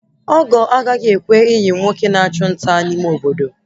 Ogo agaghị ekwe iyi nwoke na achụ nta n'ime Obodo